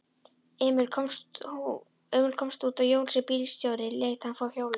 Emil komst út og Jónsi bílstjóri lét hann fá hjólið.